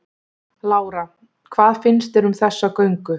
Lára: Hvað finnst þér um þessa göngu?